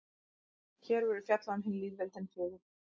hér verður fjallað um hin lýðveldin fjögur